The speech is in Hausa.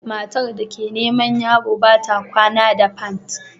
Matar da ke neman yaro ba ta kwana da pant